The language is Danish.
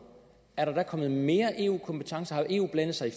kommet mere eu kompetence har eu blandet sig i